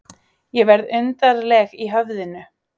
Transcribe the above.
Ég verð undarleg í höfðinu.